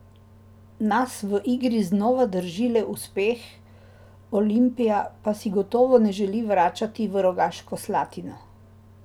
Nas v igri znova drži le uspeh, Olimpija pa si gotovo ne želi vračati v Rogaško Slatino.